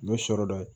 N'o sɔrɔ dɔ ye